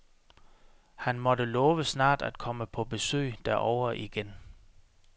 Han måtte love snart at komme på besøg derovre igen.